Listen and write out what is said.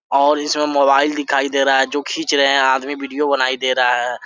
और इसमें मोबाइल दिखाई दे रहा है जो खींच रहे हैं आदमी वीडियो बनाई दे रहा है।